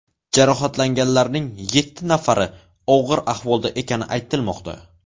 Jarohatlanganlarning yetti nafari og‘ir ahvolda ekani aytilmoqda.